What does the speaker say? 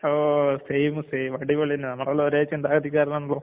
ഓ same same. അടിപൊളി. നമ്മളൊരേ ചിന്താഗതിക്കാരാണല്ലോ?